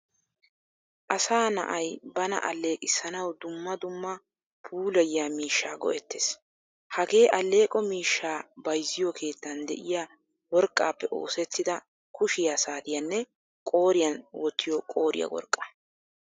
Asaa na"ay bana alleqissanawu dumma dumma puullayiyaa miishshaa go'ettees. Hagee alleqo miishshaa bayzziyo keettan de'iya worqqappe oosettida kushshiyaa saatiyaanne qooriyan woottiyo qooriyaa worqqaa.